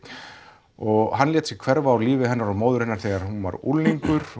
og hann lét sig hverfa úr lífi hennar og móður hennar þegar hún var unglingur